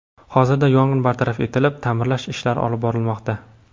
Hozirda yong‘in bartaraf etilib, ta’mirlash ishlari olib borilmoqda.